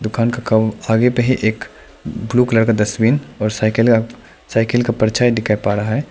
दुकान के काउंटर आगे पे है एक ब्लू कलर का डस्टबिन और साइकिल का साइकिल का परछाई दिखाई पा रहा है।